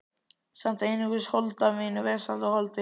Samt einungis hold af mínu vesala holdi.